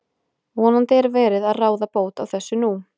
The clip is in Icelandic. Vonandi er verið að ráða bót á þessu nú.